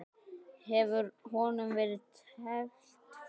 Hefur honum verið teflt fram?